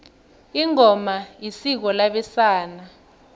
ingoma isiko labesana